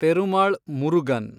Perumal Murugan